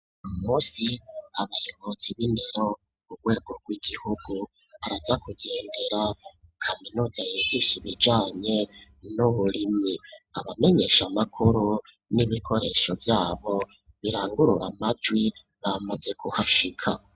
Uwu munsi abayobozi b'indero ku rwego rw'igihugu, araza kugendera kaminuza yigisha ibijanye n'uburimyi, abamenyesha makuru n'ibikoresho vyabo birangurura amajwi bamaze kuhashika.